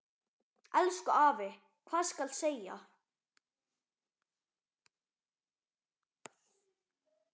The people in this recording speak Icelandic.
Elsku afi, hvað skal segja.